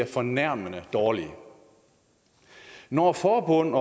fornærmende dårlige når forbund